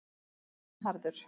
Bernharður